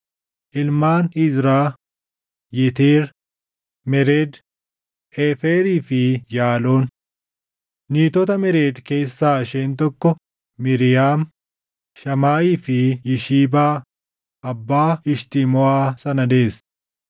Ilmaan Izraa: Yeteer, Mered, Eeferii fi Yaaloon. Niitota Mered keessaa isheen tokko Miiriyaam, Shamaayii fi Yishibaa abbaa Eshtimoʼaa sana deesse.